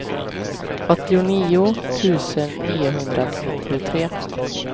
åttionio tusen niohundranittiotre